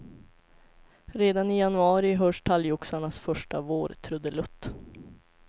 Redan i januari hörs talgoxarnas första vårtrudelutt.